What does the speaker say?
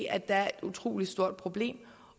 at der er et utrolig stort problem